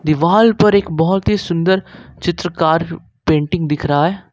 दीवाल पर एक बहुत ही सुंदर चित्रकार पेंटिंग दिख रहा है।